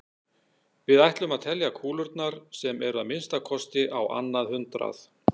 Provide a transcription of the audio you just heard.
Við ætlum að telja kúlurnar sem eru að minnsta kosti á annað hundrað.